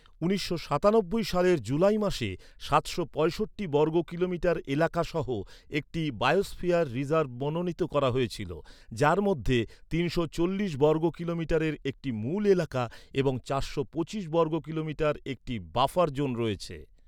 উনিশশো সাতানব্বই সালের জুলাই মাসে সাতশো পঁয়ষট্টি বর্গ কিলোমিটার এলাকা সহ একটি বায়োস্ফিয়ার রিজার্ভ মনোনীত করা হয়েছিল, যার মধ্যে তিনশো চল্লিশ বর্গ কিলোমিটারের একটি মূল এলাকা এবং চারশো পঁচিশ বর্গ কিলোমিটার একটি বাফার জোন রয়েছে।